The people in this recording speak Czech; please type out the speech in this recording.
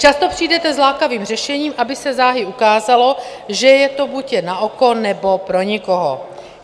Často přijdete s lákavým řešením, aby se záhy ukázalo, že je to buď jen na oko, nebo pro nikoho.